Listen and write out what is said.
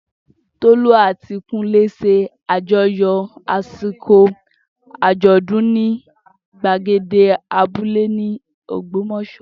Tolú àti Kúnlé ṣe àjọyọ̀ àsìkò àjọ̀dún ní gbàgede abúlé ní Ògbómọ̀ṣọ́